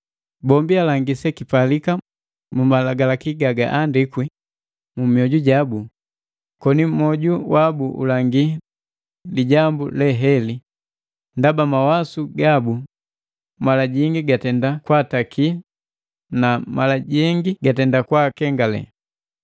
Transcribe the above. Bombi alangi sekipalika mu Malagalaki gagaandikwi mu myoju jabu, koni moju wabu ulangi lijambu leheli, ndaba mawasu gabu mala jingi gatenda kwaataki na mala jengi gatenda kwaakengale.